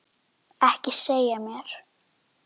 Ekki segja mér,